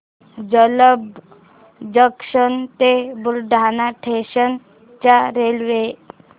Jalamb junction ते Buldhana station च्या railway